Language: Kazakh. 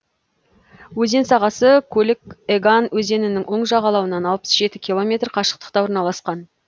өзен сағасы колик еган өзенінің оң жағалауынан алпыс жеті километр қашықтықта орналасқан